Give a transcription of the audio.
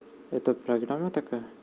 это программа такая